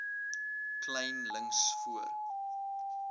kleyn links voor